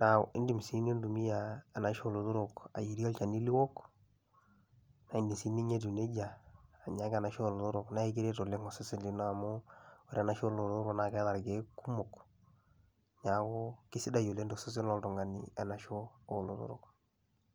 naa iindim sii nintumia enaisho oo lotorok ayierie olchani liwok, nae enyai sininye ake etiu neija anya ake enaisho oo lotorok nae kiret oleng' osesen lino amu ore enaisho oo lotorok naake eeta irkeek kumok, neeku kesidai oleng' to sesen loltung'ani enaisho oo lotorok.